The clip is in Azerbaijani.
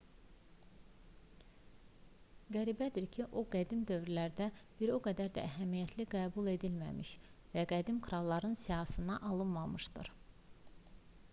qəribədir ki o qədim dövrlərdə bir o qədər də əhəmiyyətli qəbul edilməmiş və qədim kralların siyahısına alınmamışdır